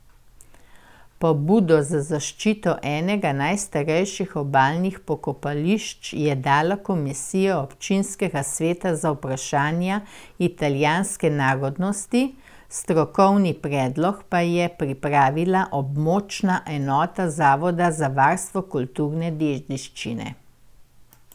Pobudo za zaščito enega najstarejših obalnih pokopališč je dala komisija občinskega sveta za vprašanja italijanske narodnosti, strokovni predlog pa je pripravila območna enota zavoda za varstvo kulturne dediščine.